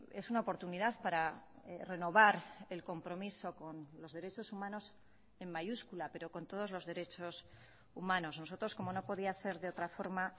es una oportunidad para renovar el compromiso con los derechos humanos en mayúscula pero con todos los derechos humanos nosotros como no podía ser de otra forma